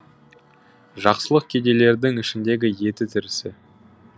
жақсылық кедейлердің ішіндегі еті тірісі